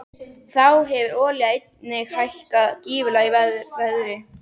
Þá hefur olía einnig hækkað gífurlega í verði.